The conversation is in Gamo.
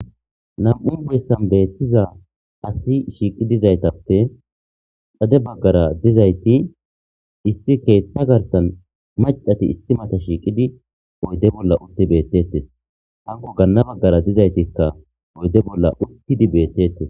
nan'u boessan beettiza asi shiiqi dizaytappe xade baggara dizayti issi keetta garsan macdati issi mata shiiqidi oyde bolla utti beettetes hanko ganna baggara dizaytikka oyde bolla uttidi beettete.